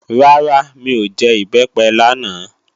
Rárá, mi ò jẹ Ìbẹ́pẹ lánàá